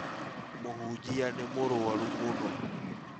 Mũhunjia nĩ mũrũaru mũno